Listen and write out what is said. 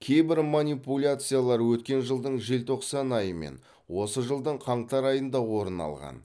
кейбір манипуляциялар өткен жылдың желтоқсан айы мен осы жылдың қаңтар айында орын алған